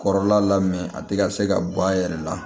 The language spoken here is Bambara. Kɔrɔla la a ti ka se ka bɔ a yɛrɛ la